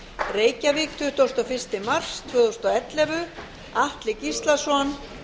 reykjavík tuttugasta og fyrsta mars tvö þúsund og ellefu atli gíslason